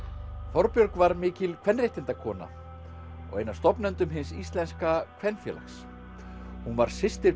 Þorbjörg var mikil kvenréttindakona og ein af stofnendum Hins íslenska kvenfélags hún var systir